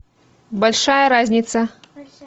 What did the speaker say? большая разница